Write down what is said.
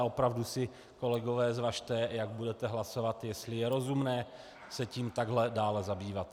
A opravdu si kolegové zvažte, jak budete hlasovat, jestli je rozumné se tím takhle dále zabývat.